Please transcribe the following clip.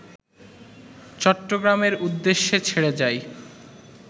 চট্টগ্রামের উদ্দেশে ছেড়ে যায়